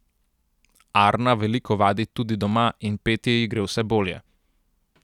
Arna veliko vadi tudi doma in petje ji gre vse bolje.